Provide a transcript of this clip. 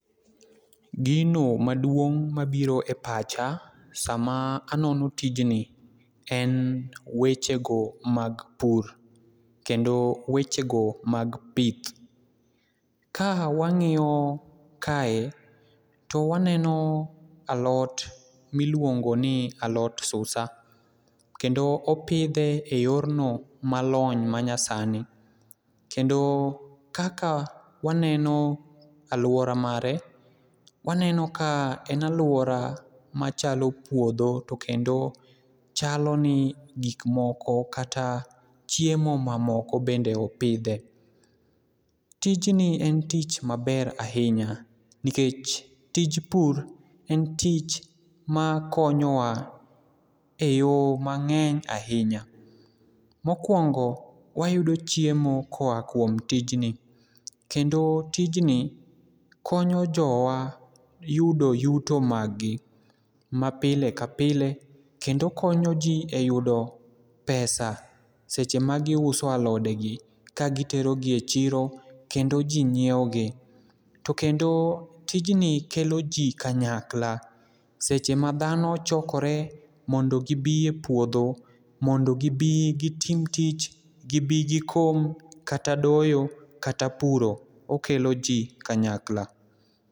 Gino maduong' mabiro e pacha sama anono tijni en weche go mag pur kendo weche go mag pith. Ka wang'iyo kae , to waneno alot miluongo ni alot susa kendo opidhe e yor no malony manya sani kendo kaka waneno aluora mare, waneno ka en aluora machalo puodho to kendo chalo ni gik moko kata chiemo mamoko bende opidhe. Tijni en tich maber ahinya nikech tij pur en tich makonyowa e yo mang'eny ahinya .Mokwongo wayudo chiemo koa kuom tijni kendo tijni konyo jowa yudo yuto mag gi ma pile ka pile kendo konyo jii eyudo pesa seche ma giuso alode gi kagitero gi e chiro kendo jii nyiewo gi. To kendo tijni kelo jii kanyakla seche ma dhano chokore mondo gibi e puodho mondo gibi gitim tich, gibi gikom kata doyo kata puro ,okelo jii kanyakla.